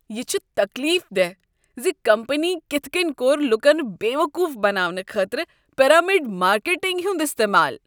یہ چھ تکلیف دہ ز کمپنی کتھ کٔنۍ کوٚر لوٗکن بےٚ وقوٗف بناونہٕ خٲطرٕ پیرامڈ مارکیٹنگ ہنٛد استعمال۔